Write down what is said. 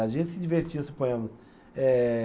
A gente se divertia, suponhamos. Eh